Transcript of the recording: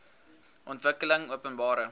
ontwikkelingopenbare